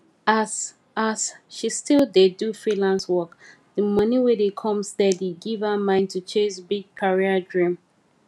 as as she still dey do freelance work the money wey dey come steady give her mind to chase big career dream